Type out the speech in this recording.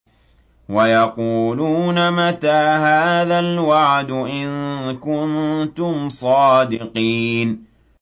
وَيَقُولُونَ مَتَىٰ هَٰذَا الْوَعْدُ إِن كُنتُمْ صَادِقِينَ